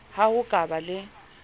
ha ho ka ba le